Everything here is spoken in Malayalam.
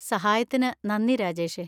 സഹായത്തിന് നന്ദി, രാജേഷേ.